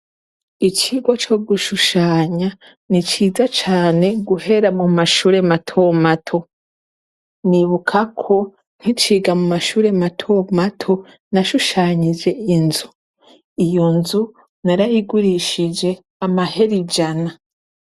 Icigwa co gushushanya ni ciza cane guhera mumashure matomato ndibukako nkiciga mumashure mato nashushanije inzu iyo nzu narayigurishije amahera ijana.